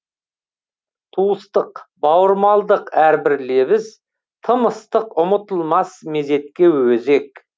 туыстық бауырмалдық әрбір лебіз тым ыстық ұмытылмас мезетке өзек